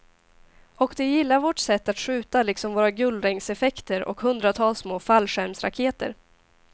Och de gillar vårt sätt att skjuta liksom våra gullregnseffekter och hundratals små fallskärmsraketer.